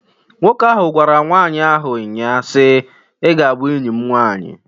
Nwoke ahụ gwara nwanyị ahụ nnyaa si, "I ga a bụ enyi m nwanyi!"